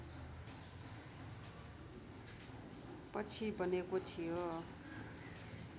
पछि बनेको थियो